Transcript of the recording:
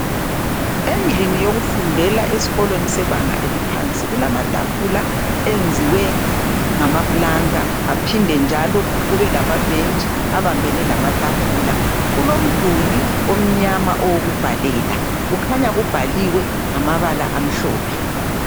Endlini yokufundela esikolweni sebanga eliphansi kulamatafula enziwe ngamapulanka aphinde njalo kube lamabhentshi abambene lamatafula kulomduli omnyama owokubhalela kukhanya kubhaliwe ngamabala amhlophe.